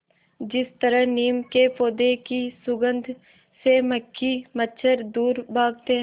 जिस तरह नीम के पौधे की सुगंध से मक्खी मच्छर दूर भागते हैं